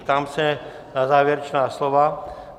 Ptám se na závěrečná slova.